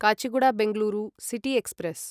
Kacheguda Bengaluru city express